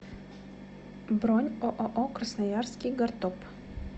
бронь ооо красноярский гортоп